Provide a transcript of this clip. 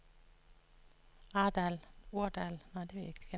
Aurdal